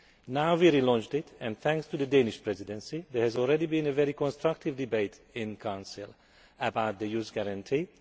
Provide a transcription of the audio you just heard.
Now we have relaunched it and, thanks to the Danish Presidency, there has already been a very constructive debate in Council about the Youth Guarantee.